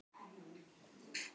Hvenær varð Ísland ríki?